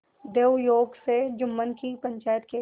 दैवयोग से जुम्मन की पंचायत के